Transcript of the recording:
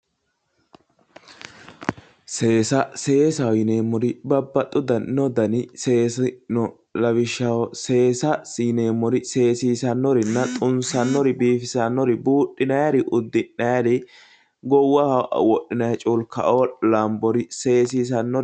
Seesa seesaho yineemmori Babbaxxino dani seesi no lawishshaho seesa yineemmori seesiisannorinna xumisannori biifisannori buudhinayiiri uddi'nayiiri goowaho wodhinayi culka"o lambori seesiisannore